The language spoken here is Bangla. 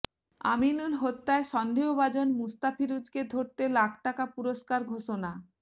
আমিনুল হত্যায় সন্দেহভাজন মোস্তাফিজুরকে ধরতে লাখ টাকা পুরস্কার ঘোষণা